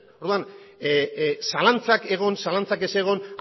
orduan zalantzak egon zalantzak ez egon